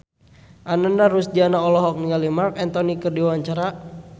Ananda Rusdiana olohok ningali Marc Anthony keur diwawancara